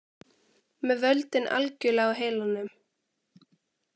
Með völdin algjörlega á heilanum